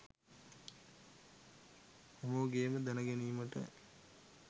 හැමෝගෙම දැනගැනීමට